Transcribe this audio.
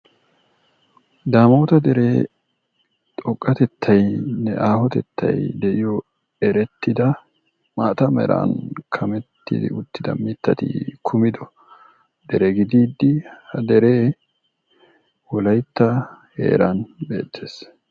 daamota deree xoqqatettaynne aahotettay de'iyo erettida maata meran kammetti uttida mittati dere gididi ha deree wolaytta heeran beettees.